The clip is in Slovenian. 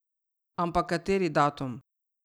Ampak kateri datum?